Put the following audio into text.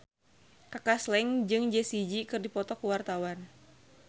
Kaka Slank jeung Jessie J keur dipoto ku wartawan